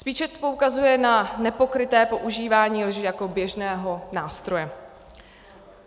Spíše poukazuje na nepokryté používání lži jako běžného nástroje.